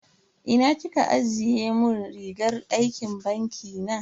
Ina kika ajiye mun rigar aikin banki na?